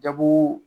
Jago